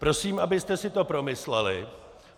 Prosím, abyste si to promysleli.